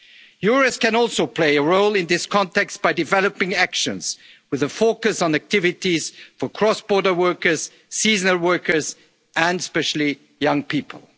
undeclared work. Europe can also play a role in this context by developing actions with a focus on activities for cross-border workers, seasonal workers and, especially,